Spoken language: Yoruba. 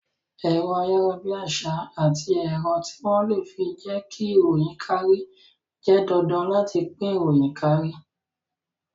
Ẹ̀rọ ayarabiasa àti ẹ̀rọ tí wón le fi jẹ ki ìròyìn kárí jẹ́ dandan láti fi pín ìròyìn kárí